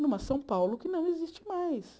numa São Paulo que não existe mais.